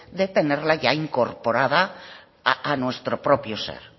de tenerla ya incorporada a nuestro propio ser